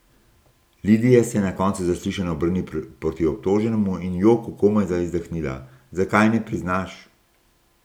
Lidija se je na koncu zaslišanja obrnila proti obtoženemu in v joku komajda izdahnila: 'Zakaj ne priznaš?